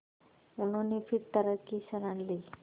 उन्होंने फिर तर्क की शरण ली